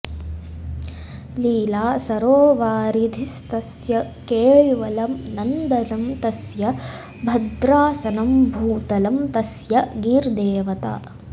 लीला सरोवारिधिस्तस्य केळीवनं नन्दनं तस्य भद्रासनं भूतलं तस्य गीर्देवता